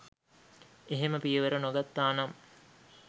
එහෙම පියවර නොගත්තානම්